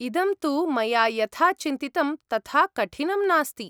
इदं तु मया यथा चिन्तितं तथा कठिनं नास्ति।